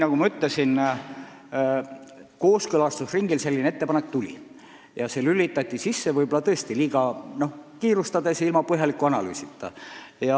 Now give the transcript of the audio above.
Nagu ma ütlesin, kooskõlastusringil selline ettepanek tuli ja see lülitati sisse võib-olla tõesti liiga kiirustades ja ilma põhjaliku analüüsita.